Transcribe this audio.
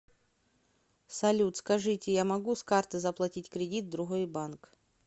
салют скажите я могу с карты заплатить кредит в другой банк